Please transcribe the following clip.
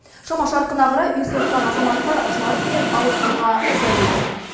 шама шарқына қарай үй соққан азаматтар жарық пен ауызсуға зәру екен